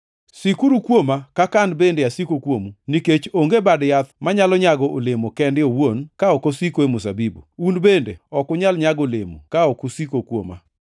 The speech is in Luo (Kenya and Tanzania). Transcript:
Sikuru kuoma, kaka an bende asiko kuomu, nikech onge bad yath manyalo nyago olemo kende owuon ka ok osiko e mzabibu. Un bende ok unyal nyago olemo ka ok usiko kuoma.